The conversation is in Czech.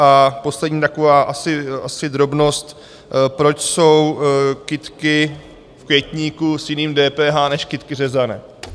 A poslední taková asi drobnost, proč jsou kytky v květníku s jiným DPH než kytky řezané?